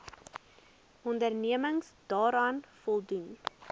onderneming daaraan voldoen